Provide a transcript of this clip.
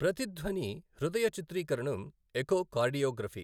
ప్రతిధ్వని హృదయ చిత్రీకరణం ఎఖోకార్డియోగ్రఫీ.